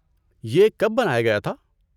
یہ کب بنایا گیا تھا؟